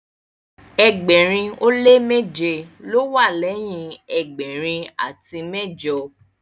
ẹgbẹrin o le meje ló wà leyin ẹgbẹrin ati mẹjọ